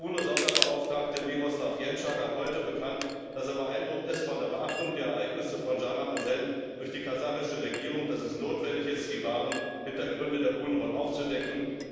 Der UNO Sonderbeauftragte gab heute bekannt, dass er beeindruckt ist von der Beachtung der Ereignisse von Schanaosen durch die kasachische Regierung und dass es notwendig ist, die wahren Hindergründe der Unruhen aufzudecken.